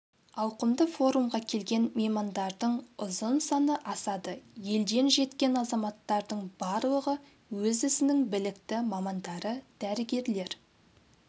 ауқымды форумға келген меймандардың ұзын саны асады елден жеткен азаматтардың барлығы өз ісінің білікті мамандары дәрігерлер